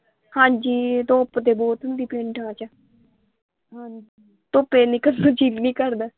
ਹਾਂਜੀ ਧੁੱਪ ਤੇ ਬਹੁਤ ਹੁੰਦੀ ਪਿੰਡਾਂ ਚ ਧੁੱਪੇ ਨਿਕਲਣ ਨੂੰ ਜੀ ਨਹੀਂ ਕਰਦਾ ਹਾਂਜੀ।